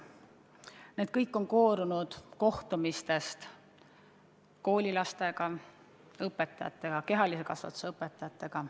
Need kõik on koorunud kohtumistest koolilastega, õpetajatega, kehalise kasvatuse õpetajatega.